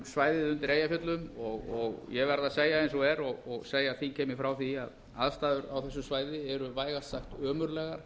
svæðið undir eyjafjöllum og ég verð að segja eins og er og segja þingheimi frá því að aðstæður á þessu svæði eru vægast sagt ömurlegar